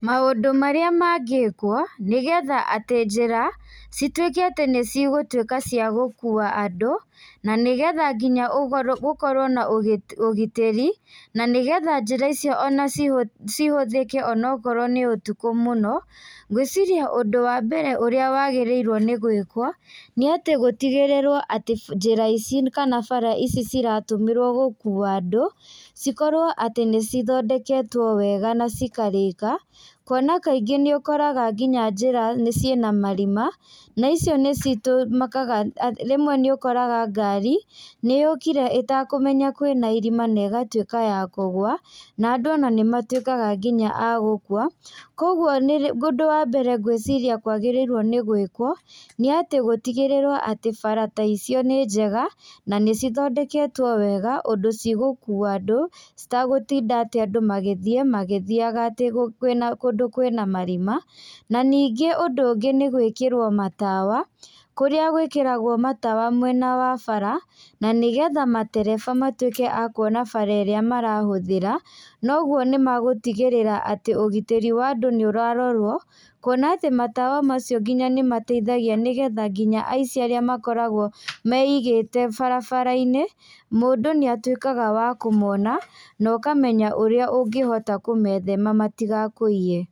Maũndũ marĩa mangĩkwo, nĩgetha atĩ njĩra, citwĩke atĩ nĩcigũtwĩka cia gũkua andũ, na nĩgetha nginya ũga gũkorwo na ũgitĩri, na nĩgetha njĩra icio ona ci cihũthĩke onokorwo nĩ ũtukũ mũno, ngwĩciria ũndũ wambere ũría wagĩrĩirwo nĩ gwĩkwo, nĩ atĩ gũtigĩrĩrwo atĩ njĩra ici kana bara ici ciratũmĩrwo gũkua andũ, cikorwo atĩ nĩcithondeketwo wega na cikarĩka. Kuona kaingĩ nĩũkoraga nginya njĩra nĩ ciĩna marima, na icio nĩci tũmĩkaga rĩmwe nĩũkoraga ngari, nĩyũkire ĩtekũmenya kwĩna irima negatwĩka ya kũgũa, na andũ ona nĩmatwĩka nginya a gũkua. Koguo nĩrĩ ũndũ wa mbere ngwĩciria kwagĩrĩirwo nĩ gwĩkwo, nĩ atĩ gũtigĩrĩrwo atĩ bara ta icio nĩ njega, na nĩcithondeketwo wega ũndũ cigũkua andũ, citagũtinda atĩ andũ magĩthiĩ magĩthiaga atĩ kwĩna kũndũ kwĩna marima. Na ningĩ ũndũ ũngĩ nĩ gwĩkĩrwo matawa, kũrĩa gwĩkĩragwo matawa mwena wa bara, na nĩgetha matereba matwĩke a kuona bara ĩrĩa marahũthĩra, noguo nĩmagũtigĩrĩra atĩ ũgitĩri wa andũ níũrarorwo, kuona atĩ matawa macio nginya nĩmateithagia nĩgetha nginya aici arĩa makoragwo meigĩte barabara-inĩ, mũndũ nĩatwĩkaga wa kũmona, nokamenya ũrĩa ũngĩhota kũmethema matigakũiye.